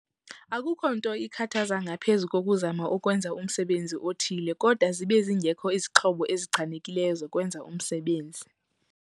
Akukho nto ikhathaza ngaphezu kokuzama ukwenza umsebenzi othile kodwa zibe zingekho izixhobo ezichanekileyo zokwenza umsebenzi.